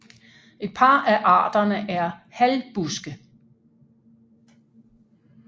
Et par af arterne er halvbuske